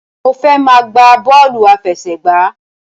Mo fẹ́ máa gbá bọ́ọ̀lù àfẹsẹ̀gbá.